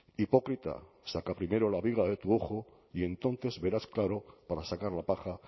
hipócrita saca primero la viga de tu ojo y entonces verás claro para sacar la paja